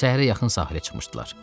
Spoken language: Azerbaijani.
Səhərə yaxın sahilə çıxmışdılar.